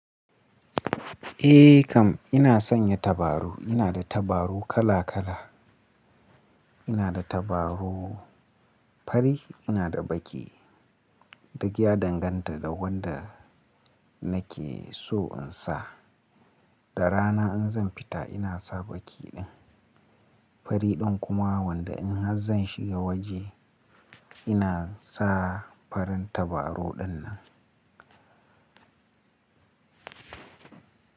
Eh kam ina sanya tabaru, ina da tabaru kala kala. Ina da tabaru fari, ina da baƙi. Duk ya danganta da wanda nake so in sa. Da rana in zan fita ina sa baƙi din. Fari din kuma wanda in har zan shiga waje ina sa farin tabaru dinnan.